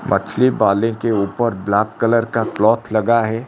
मछली वाले के ऊपर ब्लैक कलर का क्लॉथ लगा है।